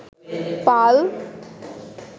পাল